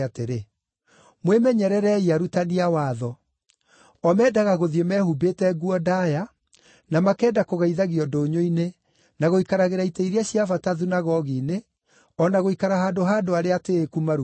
“Mwĩmenyererei arutani a watho. O mendaga gũthiĩ mehumbĩte nguo ndaaya, na makenda kũgeithagio ndũnyũ-inĩ, na gũikaragĩra itĩ iria cia bata thunagogi-inĩ, o na gũikara handũ ha andũ arĩa atĩĩku maruga-inĩ.